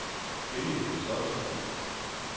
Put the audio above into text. Benny Kristoffersen